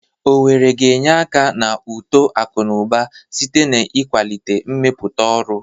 Owerri ga-enye aka na uto akụ na ụba site n'ịkwalite mmepụta ọrụ.